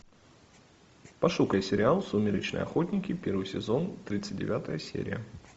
пошукай сериал сумеречные охотники первый сезон тридцать девятая серия